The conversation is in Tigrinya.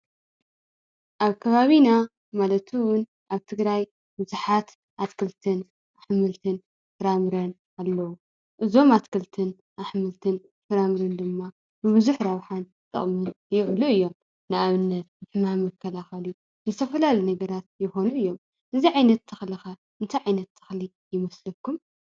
ኣብ ከባቢና ማለት እውን ኣብ ትግራይ ብዙሓት ኣትክልትን ኣሕምልትን ፍራምረን ኣለው፡፡ እዞም ኣትክልትን ኣሕምልትን ፍራምረን ድማ ንቡዙሕ ረብሓን ጥቕምን ይውዕሉ እዮም፡፡ ንኣብነት ንሕማም መከላኸሊ ንዝተፈላለዩ ነገራት ይኾኑ እዮም፡፡ እዚ ዓይነት ተኽሊ ኸ እንታይ ዓይነት ተኽሊ ይመስለኩም?